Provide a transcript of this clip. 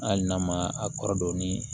Hali n'a ma a kɔrɔ dɔn ni